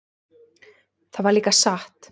Það var líka satt.